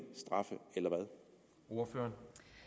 straffe eller hvad